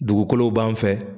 Dugukolo b'an fɛ.